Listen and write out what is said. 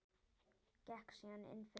Gekk síðan inn fyrir aftur.